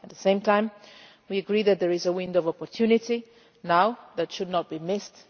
At the same time, we agree that there is a window of opportunity now that should not be missed.